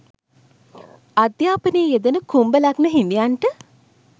අධ්‍යාපනයේ යෙදෙන කුම්භ ලග්න හිමියන්ට